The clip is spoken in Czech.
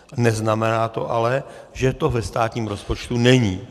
Neznamená to ale, že to ve státním rozpočtu není.